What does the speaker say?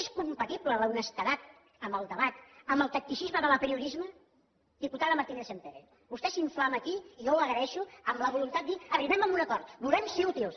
és compatible l’honestedat en el debat amb el tacticisme de l’apriorisme diputada martínez sampere vostè s’inflama aquí i jo ho agraeixo amb la voluntat de dir arribem a un acord volem ser útils